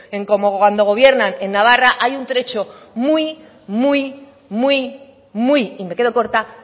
en como cuando gobiernan en navarra hay un trecho muy muy muy y me quedo corta